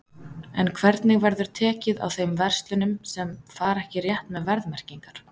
En hvernig verður tekið á þeim verslunum sem að fara ekki rétt með verðmerkingar?